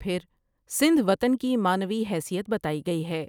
پھرسندھ وطن کی معنوی حیثیت بتائی گئی ہے ۔